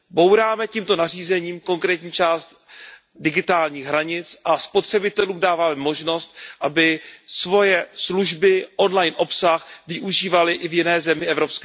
Bouráme tímto nařízením konkrétní část digitálních hranic a spotřebitelům dáváme možnost, aby svoje služby, on line obsah využívali i v jiné zemi EU.